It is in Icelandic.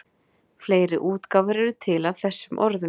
Fleiri útgáfur eru til af þessum orðum.